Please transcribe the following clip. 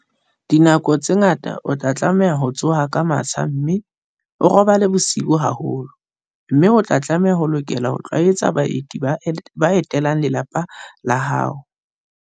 Dinako tse ngata o tla tlameha ho tsoha ka matsha mme o robale bosiu haholo, mme o tla lokela ho itlwaetsa baeti ba etelang lelapa la hao.